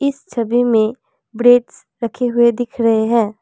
छवि मे ब्रेड्स रखे हुए दिख रहे है।